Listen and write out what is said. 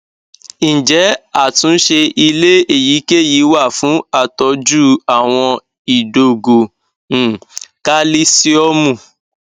ǹjẹ atunse ile eyikeyi wa fun atoju awon idogo um kalisiomu